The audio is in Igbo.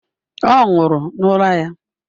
Ọ nwụrụ n'ụra ya.